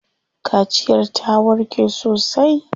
Kaciyar ta warke sosai.